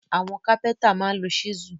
Àwọn kápẹ́ntà máa ń lo ṣísù